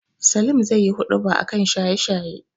Salim zaiyi huɗuba a kan shanye-shaye.